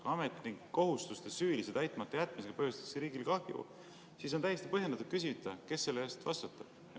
Kui ametnik kohustuste süülise täitmata jätmisega põhjustab riigile kahju, siis on täiesti põhjendatud küsida, kes selle eest vastutab.